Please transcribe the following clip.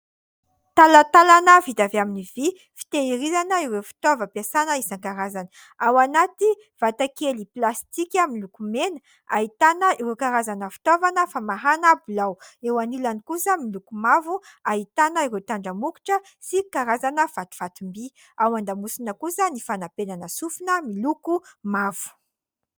Talantalana vita avy amin'ny vy, fitehirizana ireo fitaovam-piasana isan-karazany. Ao anaty vata kely plastika miloko mena, ahitana ireo karazana fitaovana famahana bilao. Eo anilany kosa miloko mavo, ahitana ireo tandramokotra sy karazana fatifatim-by. Ao an-damosina kosa ny fanampenana sofina miloko mavo.